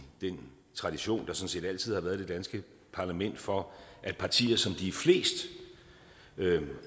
den tradition der sådan set altid har været i det danske parlament for at partier som de er flest